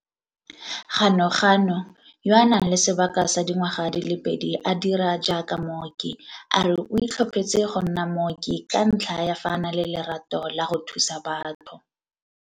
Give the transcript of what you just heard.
Ganuganu, yo a nang le sebaka sa dingwaga di le pedi a dira jaaka mooki, a re o itlhophetse go nna mooki ka ntlha ya fa a na le lerato la go thusa batho.